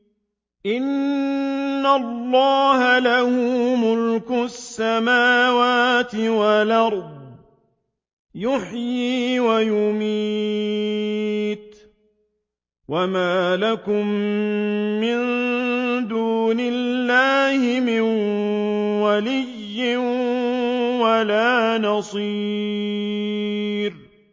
إِنَّ اللَّهَ لَهُ مُلْكُ السَّمَاوَاتِ وَالْأَرْضِ ۖ يُحْيِي وَيُمِيتُ ۚ وَمَا لَكُم مِّن دُونِ اللَّهِ مِن وَلِيٍّ وَلَا نَصِيرٍ